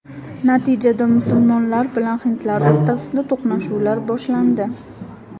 Natijada musulmonlar bilan hindlar o‘rtasida to‘qnashuvlar boshlandi.